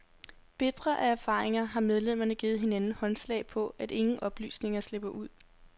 Bitre af erfaringer har medlemmerne givet hinanden håndslag på, at ingen oplysninger slipper ud.